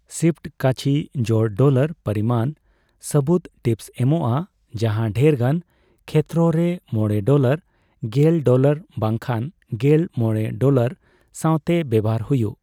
Shift ᱠᱟᱪᱷᱤ ᱡᱳᱲᱼᱰᱚᱞᱟᱨ ᱯᱚᱨᱤᱢᱟᱱ ᱥᱟᱹᱵᱩᱫ ᱴᱤᱯᱥ ᱮᱢᱚᱜᱼᱟ ᱡᱟᱦᱟᱸ ᱰᱷᱮᱨᱜᱟᱱ ᱠᱷᱮᱛᱨᱚ ᱨᱮ ᱢᱚᱲᱮ ᱰᱚᱞᱟᱨ , ᱜᱮᱞ ᱰᱚᱞᱟᱨ , ᱵᱟᱝᱠᱷᱟᱱ ᱜᱮᱞ ᱢᱚᱲᱮ ᱰᱚᱞᱟᱨ ᱥᱟᱣᱛᱮ ᱵᱮᱣᱦᱟᱨ ᱦᱩᱭᱩᱜ ᱾